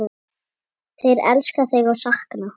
Þeir elska þig og sakna.